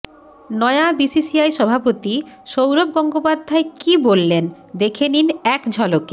নয়া বিসিসিআই সভাপতি সৌরভ গঙ্গোপাধ্যায় কি বললেন দেখে নিন এক ঝলকে